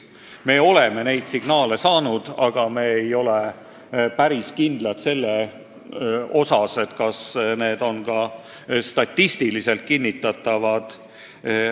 Me oleme selle kohta signaale saanud, aga me ei ole päris kindlad, kas need on ka statistiliselt kinnitatavad.